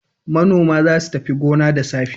Manoma za su tafi gona da safe.